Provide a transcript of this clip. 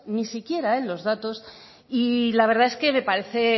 ni siquiera en los datos y la verdad es que me parece